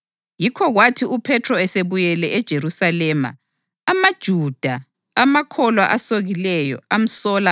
Yikho kwathi uPhethro esebuyele eJerusalema, amaJuda, amakholwa asokileyo, amsola